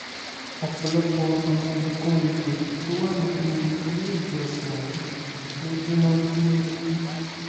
ọ̀pọ̀lọpọ̀ àwọn nǹkan èèlò tó wà nínú ilé ìjọsìn ọ̀hún ló jóná gbúgbúrú